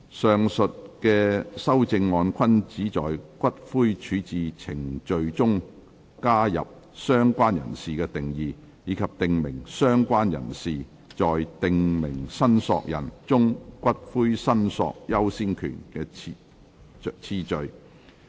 上述修正案均旨在於骨灰處置程序中加入"相關人士"的定義，以及訂明"相關人士"在"訂明申索人"中骨灰申索優先權的次序。